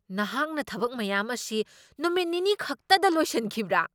ꯅꯍꯥꯛꯅ ꯊꯕꯛ ꯃꯌꯥꯝ ꯑꯁꯤ ꯅꯨꯃꯤꯠ ꯅꯤꯅꯤꯈꯛꯇꯗ ꯂꯣꯏꯁꯤꯟꯈꯤꯕ꯭ꯔꯥ?